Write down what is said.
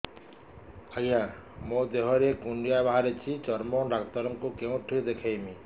ଆଜ୍ଞା ମୋ ଦେହ ରେ କୁଣ୍ଡିଆ ବାହାରିଛି ଚର୍ମ ଡାକ୍ତର ଙ୍କୁ କେଉଁଠି ଦେଖେଇମି